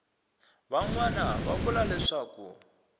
van wana va vula leswaku